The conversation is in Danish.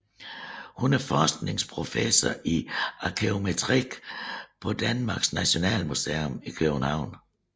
Hun er forskningsprofessor i arkæometri på Danmarks Nationalmuseum i København